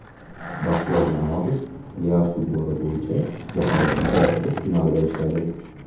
Baxtiyor Namozov plyaj futboli bo‘yicha jahon chempionati finalida ishladi.